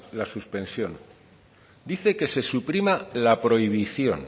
la suspensión dice que se suprima la prohibición